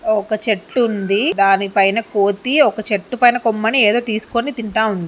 ఒక చెట్టు ఉంది. దానిపైన కోతి ఒక చెట్టు పైన కొమ్మని ఏదో తీసుకొని తింటా ఉంది.